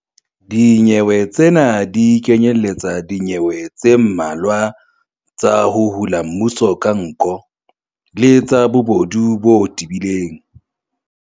Dinyewe tsena di kenyeletsa dinyewe tse mmalwa tsa 'ho hula mmuso ka nko' le tsa bobodu bo tebileng.